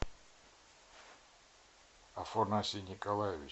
афанасий николаевич